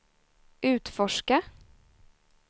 utforska